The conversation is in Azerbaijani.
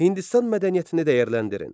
Hindistan mədəniyyətini dəyərləndirin.